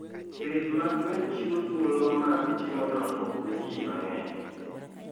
Pith mag gwen chiwo thuolo mag timo dongruok ne ji mang'eny.